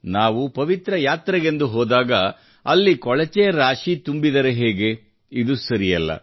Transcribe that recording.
ನಾವು ಪವಿತ್ರ ಯಾತ್ರೆಗೆಂದು ಹೋದಾಗ ಅಲ್ಲಿ ಕೊಳಚೆ ರಾಶಿ ತುಂಬಿದರೆ ಹೇಗೆ ಇದು ಸರಿಯಲ್ಲ